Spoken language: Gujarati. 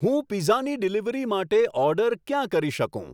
હું પીઝાની ડીલિવરી માટે ઓર્ડર ક્યાં કરી શકું